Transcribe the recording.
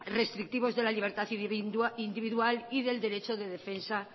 restrictivos de la libertad individual y del derecho de defensa